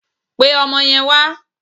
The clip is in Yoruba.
Pe ọmọ yen wà!